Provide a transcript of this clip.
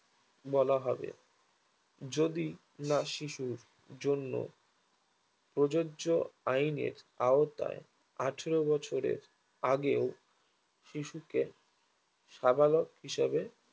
বলা হবে যদি না শিশুর জন্য প্রযোজ্য আইন আইনের আওতায় আঠেরো বছরের আগেও শিশুকে সাবালক হিসাবে